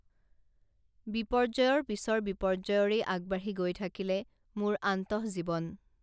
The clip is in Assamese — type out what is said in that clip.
বিপৰ্যয়ৰ পিছৰ বিপৰ্যয়ৰেই আগবাঢ়ি গৈ থাকিলে মোৰ অন্তঃজীৱন